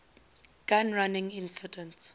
gun running incident